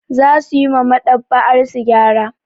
Za su yi ma Maɗ'aba'arsu gyara.